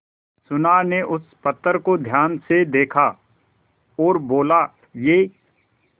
सुनार ने उस पत्थर को ध्यान से देखा और बोला ये